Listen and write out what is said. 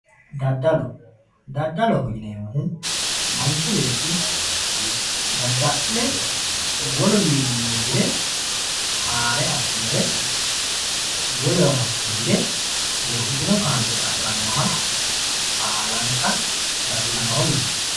daddalo daddaloho yineemmohu manchu beetti dadda'le woluwiinni hire haare abbinore wolewa masse hire lexxitino saante afirannoha baalanka daddaloho yineemmo.